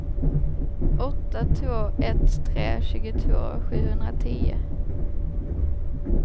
åtta två ett tre tjugotvå sjuhundratio